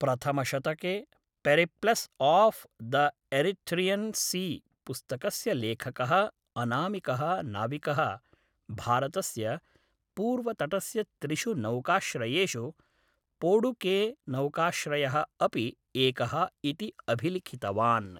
प्रथमशतके Periplus of the Erythraean Sea पुस्तकस्य लेखकः अनामिकः नाविकः भारतस्य पूर्वतटस्य त्रिषु नौकाश्रयेषु पोडुकेनौकाश्रयः अपि एकः इति अभिलिखितवान्।